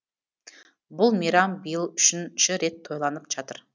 бұл мейрам биыл үшінші рет тойланып жатыр